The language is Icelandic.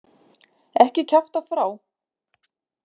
Ekki kjafta frá.